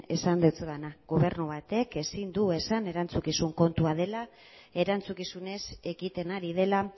esan dizudana gobernu batek ezin du esan erantzukizun kontua dela erantzukizunez ekiten ari dela